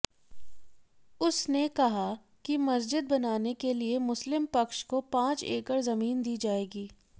उसने कहा कि मस्जिद बनाने के लिए मुस्लिम पक्ष को पांच एकड़ जमीन दी जाएगी